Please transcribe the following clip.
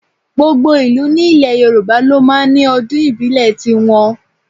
Gbogbo ìlú ní ilẹ̀ Yorùbá ló máa ń ní ọdún ìbílẹ̀ tí wọn.